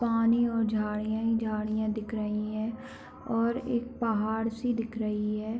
पानी और झाड़ियां ही झाड़ियां दिख रहीं है और एक पहाड़ सी दिख रही है।